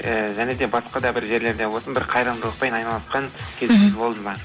ііі және де басқа да бір жерлерде болсын бір қайырымдылықпен айналысқан іхі кездер болды ма